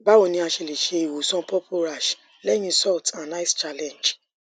bawo ni a ṣe le ṣe iwosan purple rash lẹhin salt and ice challenge